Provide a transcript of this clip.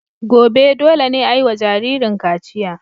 Gobe, dole ne a yi wa jaririn kachiya.